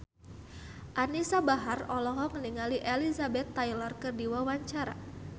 Anisa Bahar olohok ningali Elizabeth Taylor keur diwawancara